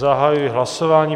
Zahajuji hlasování.